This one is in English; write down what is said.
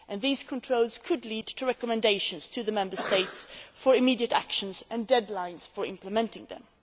These controls could lead to recommendations to the Member States for immediate actions and deadlines for implementing them.